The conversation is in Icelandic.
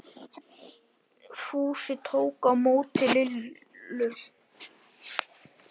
Fúsi tók á móti Lillu.